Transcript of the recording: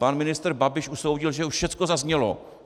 Pan ministr Babiš usoudil, že už všecko zaznělo.